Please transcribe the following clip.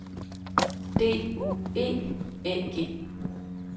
D U E Æ G